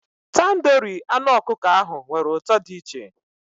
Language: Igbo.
Tandoori anụ ọkụkọ ahụ nwere ụtọ dị iche